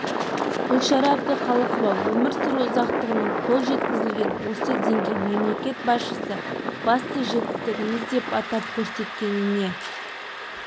гүлшара әбдіқалықова өмір сүру ұзақтығының қол жеткізілген осы деңгейін мемлекет басшысы басты жетістігіміз деп атап көрсеткеніне